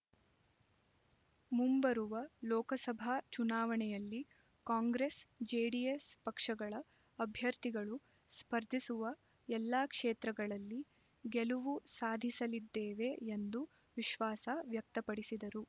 ಮುಂಬರುವ ಲೋಕಸಭಾ ಚುನಾವಣೆಯಲ್ಲಿ Congress JDS ಪಕ್ಷಗಳ ಅಭ್ಯರ್ಥಿಗಳು ಸ್ಪರ್ಧಿಸುವ ಎಲ್ಲಾ ಕ್ಷೇತ್ರಗಳಲ್ಲಿ ಗೆಲುವು ಸಾಧಿಸಲಿದ್ದೇವೆ ಎಂದು ವಿಶ್ವಾಸ ವ್ಯಕ್ತಪಡಿಸಿದರು